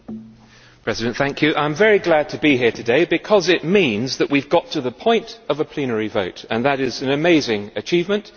Madam President, I am very glad to be here today because it means that we have got to the point of a plenary vote and that is an amazing achievement.